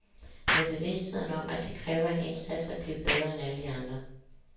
Med bevidstheden om at det kræver en indsats at blive bedre end alle de andre.